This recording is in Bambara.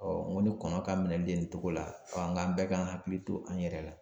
Ɔɔ n ko ni kɔnɔ ka minɛli de nin togo la ɔ an ga an bɛɛ k'an hakili to an yɛrɛ la